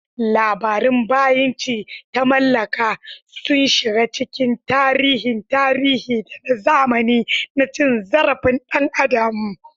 Labarun bayinci ta mallaka sun shiga cikin tarihin tarihi da na zamani na cin zarafin ɗan adam.